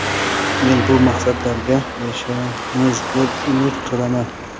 Men bu maqsadlarga erishamiz, deb umid qilaman.